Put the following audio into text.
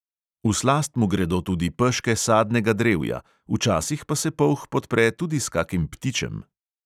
V slast mu gredo tudi peške sadnega drevja, včasih pa se polh podpre tudi s kakim ptičem.